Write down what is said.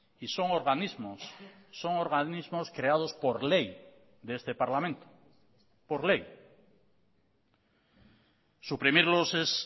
y son organismos son organismos creados por ley de este parlamento por ley suprimirlos es